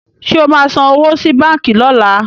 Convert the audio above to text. Ṣé o máa san owó sí báǹkì lọ́la?